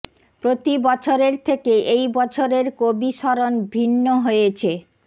প্রতি বছরের থেকে এই বছরের কবি স্মরণ ভিন্ন হয়েছে